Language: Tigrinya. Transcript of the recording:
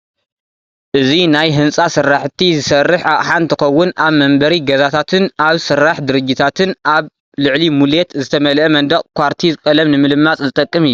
እዚ ናይ ህንፃ ስራሕቲ ዝሰርሕ ኣቕሓ እንትኸውን ኣብ መንበሪ ገዛታትን ኣብ ስራሕ ድርጅታትን ኣብ ልዕሊ ሙሌት ዝተመልአ መንደቕ ኳርቲዝ ቀለም ንምልማፅ ዝጠቅም እዩ፡፡